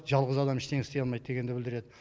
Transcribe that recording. жалғыз адам ештеңе істей алмайды дегенді білдіреді